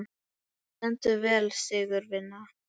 Þú stendur þig vel, Sigurvina!